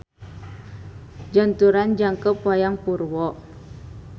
Janturan Jangkep Wayang Purwo.